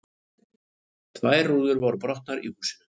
Tvær rúður voru brotnar í húsinu